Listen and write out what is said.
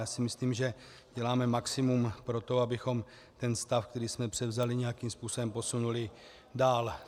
Já si myslím, že děláme maximum pro to, abychom ten stav, který jsme převzali, nějakým způsobem posunuli dál.